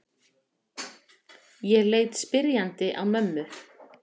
Ég leit spyrjandi á mömmu.